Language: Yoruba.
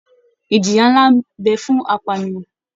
Ìjìyà nlá n bẹ fún apànìyàn.